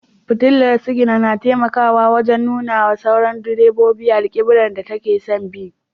Fitilar sigina na taimakawa wajen nuna wa sauran direbobi alkiblar da take son bi.